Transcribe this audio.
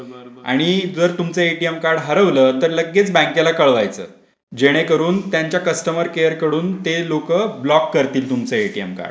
आणि जर तुमचे एटीएम कार्ड हरवलं तर लगेच बँकेला कळवायचं जेणेकरून त्यांच्या कस्टंमर केअर कडून लोकं ते ब्लॉक करतील तुमचे एटीएम कार्ड.